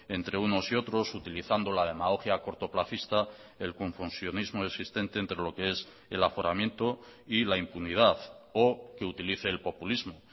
entre unos y otros utilizando la demagogia cortoplacista el confusionismo existente entre lo que es el aforamiento y la impunidad o que utilice el populismo